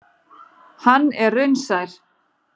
Hann er raunsær.